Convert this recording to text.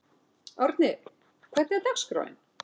Árni, hvernig er dagskráin?